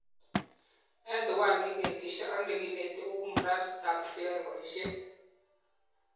Eng tuwai neinetishe ak nekinet kou mraditab cheyoe boishet